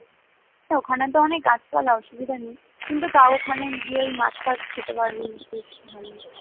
তো ওখানে তো অনেক গাছপালা, অসুবিধা নেই কিন্তু তাও ওখানে গিয়ে ওই মাছ ফ্যাচ খেতে পারবি বেশ ভালোই